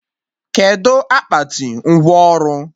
Kedụ akpati ngwọ ọrụ?